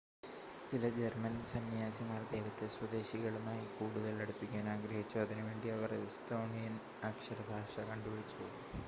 ചില ജർമ്മൻ സന്ന്യാസിമാർ ദൈവത്തെ സ്വദേശികളുമായി കൂടുതൽ അടുപ്പിക്കാൻ ആഗ്രഹിച്ചു അതിനുവേണ്ടി അവർ എസ്തോണിയൻ അക്ഷര ഭാഷ കണ്ടുപിടിച്ചു